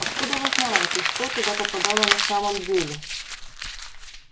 откуда вы знаете что туда попадало на самом деле